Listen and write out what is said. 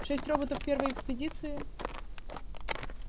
шесть роботов первой экспедиции